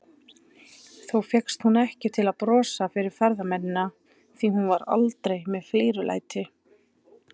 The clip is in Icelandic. Þó fékkst hún ekki til að brosa fyrir ferðamennina, því hún var aldrei með flírulæti.